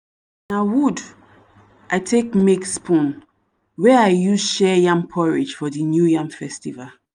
na wood i take make spoon wey i use share yam porridge for the new yam festival.